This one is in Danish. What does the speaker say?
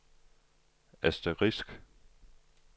asterisk